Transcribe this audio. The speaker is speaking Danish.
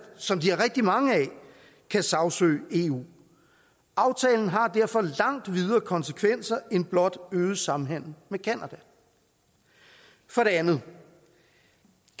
som de har rigtig mange af kan sagsøge eu aftalen har derfor langt videre konsekvenser end blot øget samhandel med canada for det andet